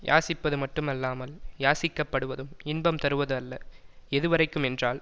யாசிப்பது மட்டும் அல்லாமல் யாசிக்கப்படுவதும் இன்பம் தருவது அல்ல எதுவரைக்கும் என்றால்